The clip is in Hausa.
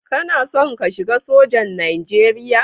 Kana son ka shiga sojan Nijeriya?